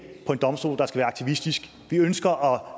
på en domstol der skal være aktivistisk vi ønsker